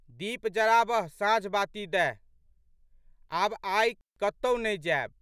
दीप जराबह साँझबाती दैह। आब आइ कतहु नहि जैब।